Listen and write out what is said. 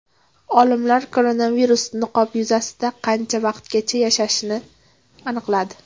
Olimlar koronavirus niqob yuzasida qancha vaqtgacha yashashini aniqladi.